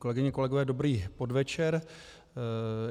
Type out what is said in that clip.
Kolegyně, kolegové, dobrý podvečer.